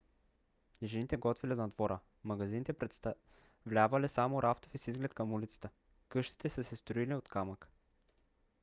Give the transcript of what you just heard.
жените готвели на двора; магазините представлявали само рафтове с изглед към улицата. къщите са се строили от камък